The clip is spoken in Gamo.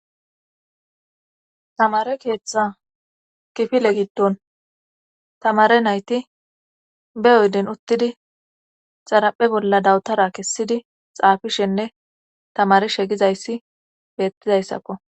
tamare keeththa kifile giddon tamare nayti be yoyden uttidi xaraphe bolla dawutara kessidi xaafishenne tamari shegizayssi beettizayssakko